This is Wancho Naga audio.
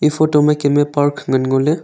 photo ma kemme park ngan ngole.